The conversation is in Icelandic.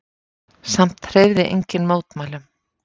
Samt hreyfði enginn mótmælum.